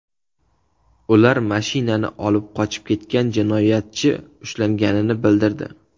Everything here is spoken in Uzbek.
Ular mashinani olib qochib ketgan jinoyatchi ushlanganini bildirdi.